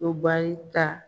O baa ta